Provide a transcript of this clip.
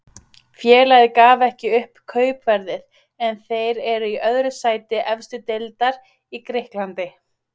Félagið gaf ekki upp kaupverðið en þeir eru í öðru sæti efstu deildar í Grikklandi.